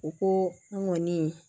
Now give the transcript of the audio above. U ko n ŋɔni